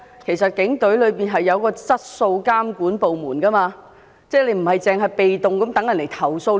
然而，警隊設有質素監管部門，不應被動地等到接獲投訴才做事。